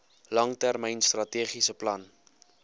langtermyn strategiese plan